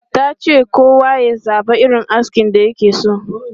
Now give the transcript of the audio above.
Ta ce kowa ya zaba irin askin da ya fi so.